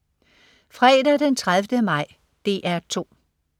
Fredag den 30. maj - DR 2: